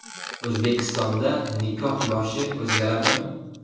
O‘zbekistonda nikoh yoshi o‘zgaradimi?.